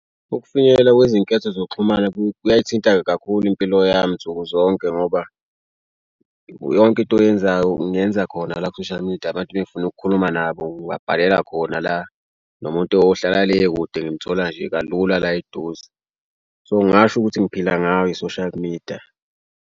Ukufinyelela kwezinketho zokuxhumana kuyayithinta kakhulu impilo yami nsuku zonke ngoba yonke into oyenzayo kungenza khona la ku-social media. Abantu befuna ukukhuluma nabo ngabhalela khona la nomuntu ohlala le kude ngimthola nje kalula la eduze. So ngingasho ukuthi ngiphila ngayo i-social media.